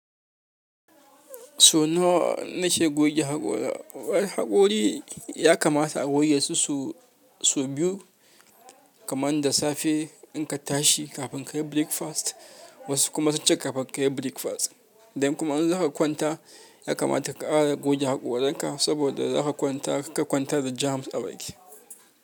So nawa na ce goge haƙora. Wai haƙori ya kamata a goge sau biyu kaman da safe in ka tashi kafin ka yi breakfast wasu kuma sunce kafin ka yi breakfast. Da in kuma in za ka kwanta ya kamata ka ƙara goge haƙoranka saboda za ka kwanta kar ka kwanta da germs a baki.